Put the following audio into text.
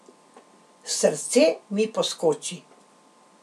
Srce mi poskoči.